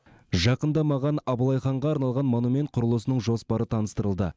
жақында маған абылай ханға арналған монумент құрылысының жоспары таныстырылды